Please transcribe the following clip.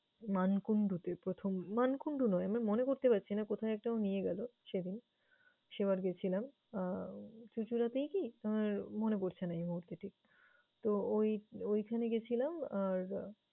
মানকুণ্ডুতে প্রথম মানকুণ্ডু নয় মনে করতে পারছি না। কোথায় একটা ও নিয়ে গেলো সেদিন, সেবার গেছিলাম আহ চুচুনাতেই কি? আমার মনে পরছে না এই মুহূর্তে ঠিক। তো, ওই ঐখানে গেছিলাম আর